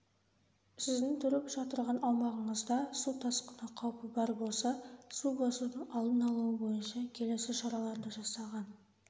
сіздің тұрып жатырған аумағыңызда су тасқыны қаупі бар болса су басудың алдын-алуы бойынша келесі шараларды жасаған